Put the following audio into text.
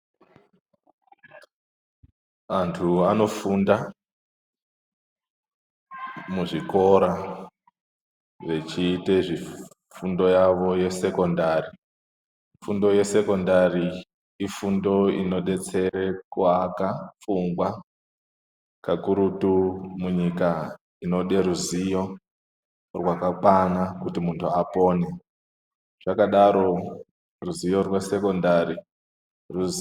Anthu anofunda muzvikora vechiite fundo yavo yesekondari, fundo yesekondari ifundo inodetsere kuaka pfungwa kakurutu munyika inode ruziwo rwakakwana kuti munthu apone, zvakadaro ruziwo rwesekondari ruziwo ..